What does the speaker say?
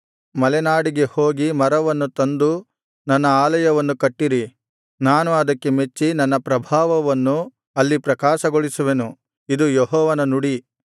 ಮಲೆನಾಡಿಗೆ ಹೋಗಿ ಮರವನ್ನು ತಂದು ನನ್ನ ಆಲಯವನ್ನು ಕಟ್ಟಿರಿ ನಾನು ಅದಕ್ಕೆ ಮೆಚ್ಚಿ ನನ್ನ ಪ್ರಭಾವವನ್ನು ಅಲ್ಲಿ ಪ್ರಕಾಶಗೊಳಿಸುವೆನು ಇದು ಯೆಹೋವನ ನುಡಿ